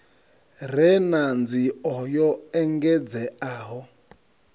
re na nzio yo engedzeaho